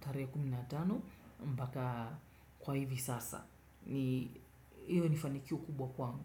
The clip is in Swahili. tisaini na tano. Iyo ni mraadi wa kwanzia.